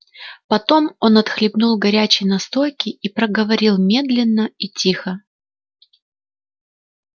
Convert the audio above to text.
потом он отхлебнул горячей настойки и проговорил медленно и тихо